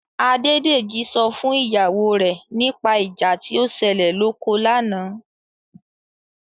Adédèjì sọ fún ìyàwó rẹ̀ nípa ìjà tí ó ṣẹlẹ̀ lóko lánàá.